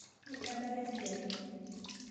Midalare esiai